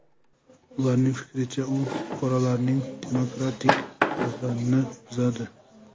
Ularning fikricha, u fuqarolarning demokratik huquqlarini buzadi.